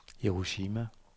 Hiroshima